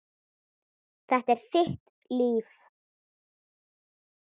Þetta er þitt líf